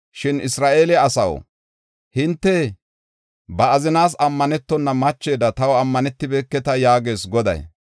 Shin Isra7eele asaw, hinte ba azinaas ammanetona machida taw ammanetibeketa” yaagees Goday.